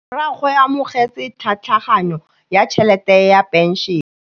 Rragwe o amogetse tlhatlhaganyô ya tšhelête ya phenšene.